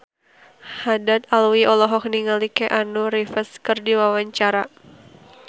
Haddad Alwi olohok ningali Keanu Reeves keur diwawancara